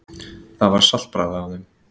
Það var saltbragð af þeim.